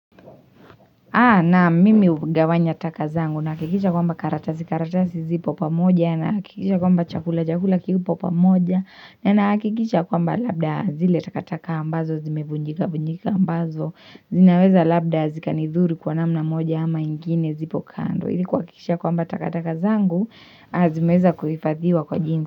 Naam mimi hugawanya taka zangu nahakikisha kwamba karatasi karatasi zipo pamoja nahakikisha kwamba chakula chakula kipo pamoja na nahakikisha kwamba labda zile takataka ambazo zimevunjikavunjika ambazo zinaweza labda zikanidhuru kwa namna moja ama ingine zipo kando. Ili kuhakikisha kwamba takataka zangu zimeweza kuhifadhiwa kwa jinsi.